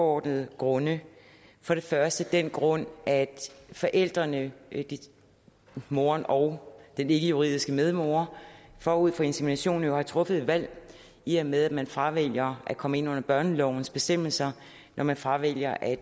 overordnede grunde for det første af den grund at forældrene moren og den ikkejuridiske medmor forud for inseminationen jo har truffet et valg i og med at man fravælger at komme ind under børnelovens bestemmelser når man fravælger at